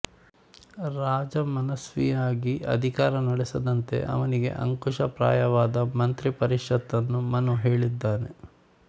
ರಾಜ ಮನಸ್ವಿಯಾಗಿ ಅಧಿಕಾರ ನಡೆಸದಂತೆ ಅವನಿಗೆ ಅಂಕುಶಪ್ರಾಯವಾದ ಮಂತ್ರಿ ಪರಿಷತ್ತನ್ನು ಮನು ಹೇಳಿದ್ದಾನೆ